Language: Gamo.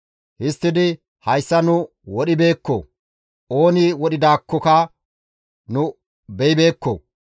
Histtidi, «Hayssa nu wodhibeekko; ooni wodhidaakkoka nu beyibeekko.